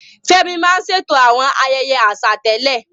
Fẹ́mi máa ń ṣètò àwọn ayẹyẹ àṣà tẹ́lẹ̀.